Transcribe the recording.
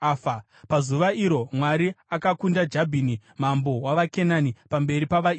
Pazuva iro, Mwari akakunda Jabhini, mambo wavaKenani, pamberi pavaIsraeri.